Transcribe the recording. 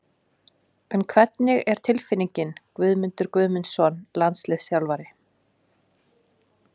En hvernig er tilfinningin Guðmundur Guðmundsson landsliðsþjálfari?